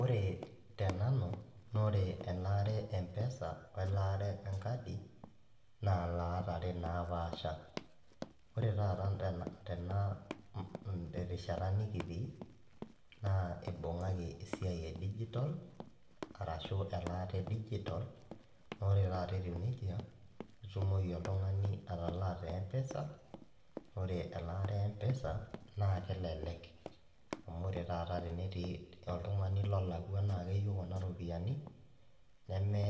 Ore tenanu naa ore elaata e M-Pesa welaata enkadi naa ilaat are naapasha. Ore taata terishata nikitii naa eibung'aki esiai e digital arashuu elaata e digital naa ore taata etiu nejia ketumoki oltung'ani atalaa te M-Pesa, ore elare e M-Pesa naa kelelek amu ore taata tenetii oltung'ani lolakwa naa keyieu kuna ropiyiani neme